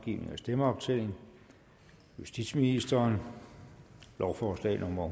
tredive justitsministeren lovforslag nummer